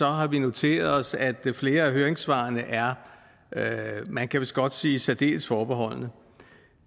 har vi noteret os at flere af høringssvarene er man kan vist godt sige særdeles forbeholdne